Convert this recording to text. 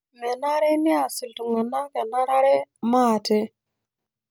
Menare neas iltung'anak enarare maate